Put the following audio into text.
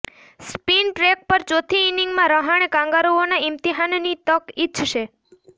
spin track પર ચોથી ઈનીંગમાં રહાણે કાંગારુઓના ઈમ્તિહાનની તક ઈચ્છશે